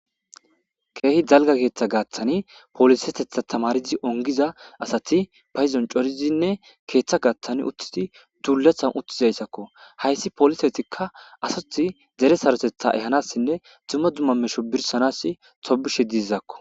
Keehi dalgga keeeeththa gaathani poliseththeta tamaaridi onggida asati bayzon coridinne keeththa gaaththan uttidi duulatan uttidayssako. Hayssa polisetika asasi dere saroththeta ehanasinne dumma dumma metho birshanasi tobishe dizakko.